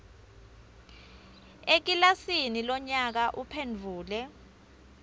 ekilasini lonyaka uphendvule